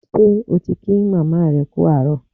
Ṣé o ti kí màmá rẹ kú àárọ̀?